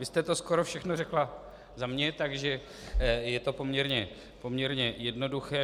Vy jste to skoro všechno řekla za mě, takže je to poměrně jednoduché.